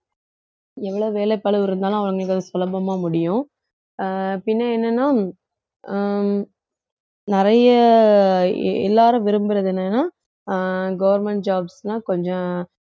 எவ்வளவு வேலைப்பளுவு இருந்தாலும் அவங்களுக்கு அது சுலபமா முடியும் அஹ் பின்ன என்னன்னா அஹ் நிறைய எல்லாரும் விரும்புறது என்னன்னா அஹ் government jobs தான் கொஞ்சம்